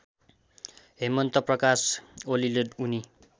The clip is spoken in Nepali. हेमन्तप्रकाश ओलीले उनी